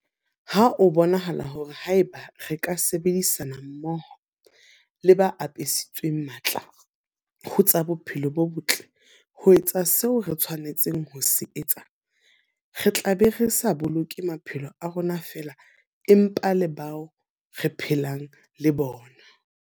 Ho a bonahala hore haeba re ka sebedisana mmoho le ba apesitsweng matla ho tsa bophelo bo botle ho etsa seo re tshwanetseng ho se etsa, re tla be re sa boloke maphelo a rona feela, empa le a bao re phelang le bona.